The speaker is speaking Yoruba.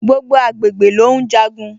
Gbogbo agbègbè ló ùn jagun